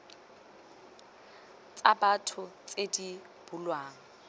tsa batho tse di bulwang